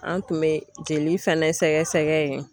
An tun bɛ jeli fɛnɛ sɛgɛsɛgɛ yen.